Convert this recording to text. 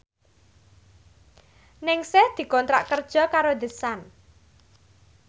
Ningsih dikontrak kerja karo The Sun